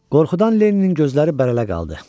Qorxudan Lenninin gözləri bərələ qaldı.